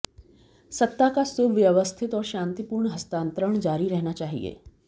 सत्ता का सुव्यवस्थित और शांतिपूर्ण हस्तांतरण जारी रहना चाहिए